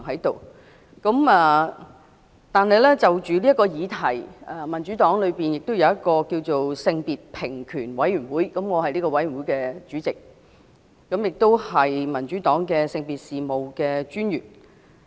但是，就此議題，民主黨有一個性別平權委員會，我是這個委員會的主席，也是民主黨性別平等專員。